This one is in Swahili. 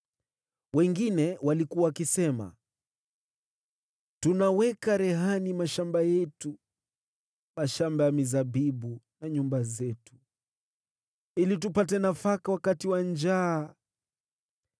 Wengine walikuwa wakisema, “Tunaweka rehani mashamba yetu, mashamba ya mizabibu, na nyumba zetu ili tupate nafaka wakati wa njaa.”